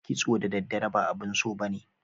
kitso da daddare ba abun so ba ne.